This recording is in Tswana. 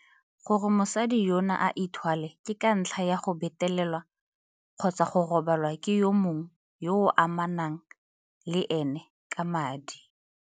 Gore mosadi yono a ithwale ke ka ntlha ya go betelelwa kgotsa go robalwa ke yo mongwe yo a amanang le ene ka madi.